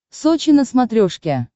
сочи на смотрешке